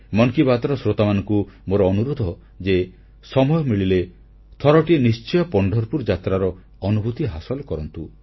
ମନ୍ କି ବାତ୍ର ଶ୍ରୋତାମାନଙ୍କୁ ମୋର ଅନୁରୋଧ ଯେ ସମୟ ମିଳିଲେ ଥରଟିଏ ନିଶ୍ଚୟ ପଣ୍ଢରପୁର ଯାତ୍ରାର ଅନୁଭୂତି ହାସଲ କରନ୍ତୁ